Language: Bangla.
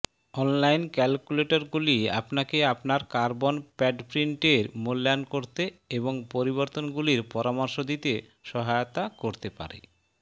অনলাইন ক্যালকুলেটরগুলি আপনাকে আপনার কার্বন প্যাডপ্রিন্টের মূল্যায়ন করতে এবং পরিবর্তনগুলির পরামর্শ দিতে সহায়তা করতে পারে